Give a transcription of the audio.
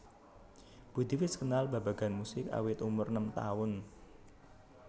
Budi wis kenal babagan musik awit umur enem taun